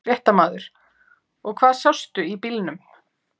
Fréttamaður: Og hvað sástu í bílnum?